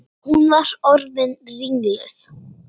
Hún var orðin ringluð.